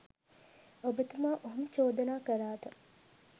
ඔබතුමා ඔහොම චෝදනා කළාට